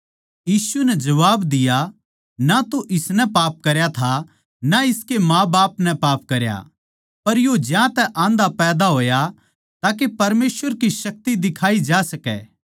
यीशु नै जबाब दिया ना तो इसनै पाप करया था ना इसके माँबाप नै पाप करया पर यो ज्यांतै आन्धा पैदा होया ताके परमेसवर की शक्ति दिखाई जा सकै